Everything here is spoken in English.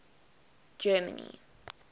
germany